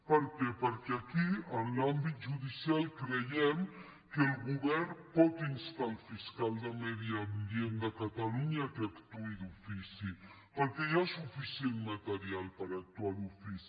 per què perquè aquí en l’àmbit judicial creiem que el govern pot instar el fiscal de medi ambient de catalunya perquè actuï d’ofici perquè hi ha suficient material per actuar d’ofici